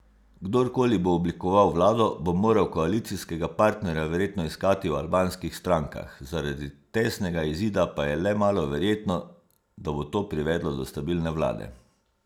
Kdorkoli bo oblikoval vlado, bo moral koalicijskega partnerja verjetno iskati v albanskih strankah, zaradi tesnega izida pa je le malo verjetno, da bo to privedlo do stabilne vlade.